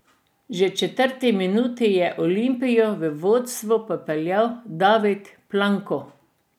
Že v četrti minuti je Olimpijo v vodstvo popeljal David Planko.